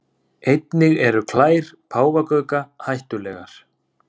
Einnig eru klær páfagauka hættulegar.